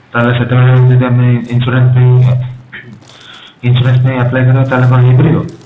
ତାହେଲେ ସେତେବେଳେ ଯଦି ଆମେ insurance ପାଇଁ insurance ପାଇଁ apply କରିବା ତାହେଲେ କଣ ହେଇପାରିବ?